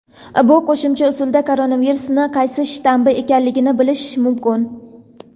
bu qo‘shimcha usulda koronavirusning qaysi shtammi ekanligini bilish mumkin.